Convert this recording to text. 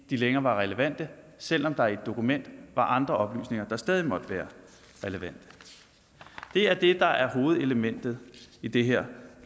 de længere var relevante selv om der i et dokument var andre oplysninger der stadig måtte være relevante det er det der er hovedelementet i det her